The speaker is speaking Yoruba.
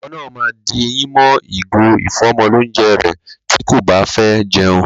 Ọmọ náà ma di eyín mọ́ ìgò ìfọ́mọlónjẹ rẹ̀ tí kò báfẹ́ jẹun.